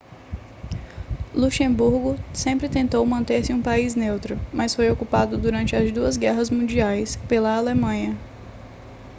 luxemburgo sempre tentou manter-se um país neutro mas foi ocupado durante as duas guerras mundiais pela alemanha